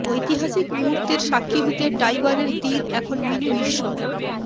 ঐতিহাসিক মুহুর্তের সাক্ষী হতে টাইবারের তীর এখন মিনি বিশ্ব